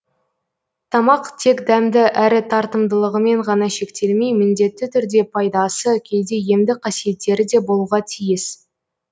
тамақ тек дәмді әрі тартымдылығымен ғана шектелмей міндетті түрде пайдасы кейде емдік қасиеттері де болуға тиіс